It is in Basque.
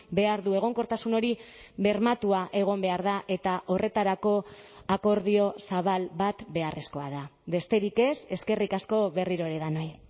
behar du egonkortasun hori bermatua egon behar da eta horretarako akordio zabal bat beharrezkoa da besterik ez eskerrik asko berriro ere denoi